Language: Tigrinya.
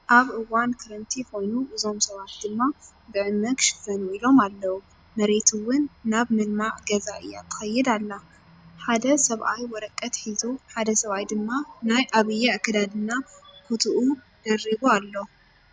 ኣብ እዋን ክረምቲ ኮይኑ እዞም ሰባት ድማ ብዕመ ክሽፈኑ ኢሎም ኣለው። መሬት እውን ናብ ምልማዕ ገዛ እያ ትከይድ እላ። ሓደ ሰብኣይ ወረቀት ሒዙ ሓደ ሰብኣይ ድማ ናይ ኣብይ ኣከዳድና ኩትኡ ደርቡ ኣሎ።